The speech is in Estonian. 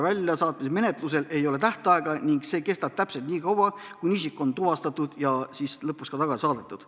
Väljasaatmismenetlusel ei ole tähtaega ning see kestab nii kaua, kuni isik on tuvastatud ja lõpuks ka tagasi saadetud.